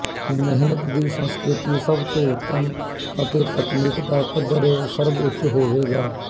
ਮਿਹਨਤ ਦੀ ਸੰਸਕ੍ਰਿਤੀ ਸਭ ਤੋਂ ਉੱਤਮ ਅਤੇ ਤਕਨੀਕ ਦਾ ਪੱਧਰ ਸਰਬਉਚ ਹੋਵੇਗਾ